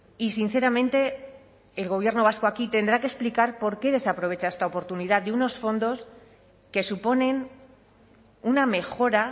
y sinceramente el gobierno vasco aquí tendrá que explicar por qué desaprovecha esta oportunidad de unos fondos que suponen una mejora